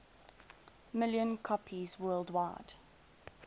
million copies worldwide